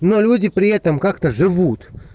но люди при этом как то живут